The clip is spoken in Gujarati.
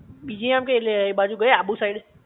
બીજે આમ કઈ લ એ બાજુ ગયા આબુ સાઇડ?